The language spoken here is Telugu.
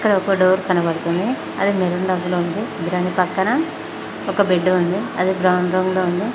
ఇక్కడ ఒక డోర్ కనబడుతుంది అది మెరూన్ రంగులో ఉంది ద్రాని పక్కన ఒక బెడ్డు ఉంది అది బ్రౌన్ రంగులో ఉంది.